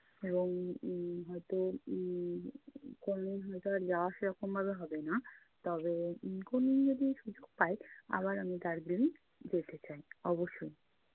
এবং উম হয়তো উম কোনোদিন হয়তো আর যাওয়া সেরকম ভাবে হবে না। তবে উম কোনোদিন যদি সুযোগ পাই আবার আমি দার্জিলিং যেতে চাই অবশ্যই